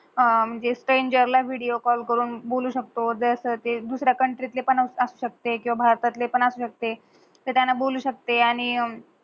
स्ट्रेंजरला video call करून बोलू शकतो ज्या साटी दुसर्या country त पण असू शकते, भारतला पण असू शकते, त्येझांना बोलू शकते आणि